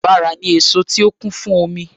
Bàrà ni èso tó kún fún omi